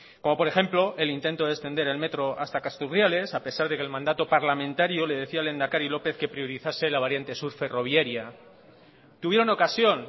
como por ejemplo el intento de extender el metro hasta castro urdiales a pesar de que el mandato parlamentario le decía el lehendakari lópez que priorizase la variante sur ferroviaria tuvieron ocasión